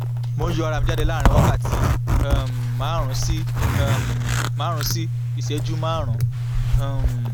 mo ń yọ ara mi jáde láàárín wákàtí um márùn-ún sí um márùn-ún sí ìṣẹ́jú márùn-ún um